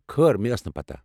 کھٲر مےٚ ٲس نہٕ پتہ۔